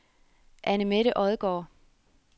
Anne-Mette Odgaard